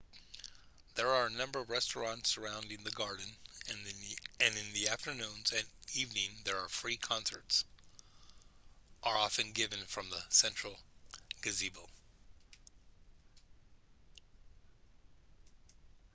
there are a number of restaurants surrounding the garden and in the afternoons and evening there free concerts are often given from the central gazebo